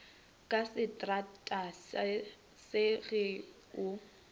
ka setrata se ge o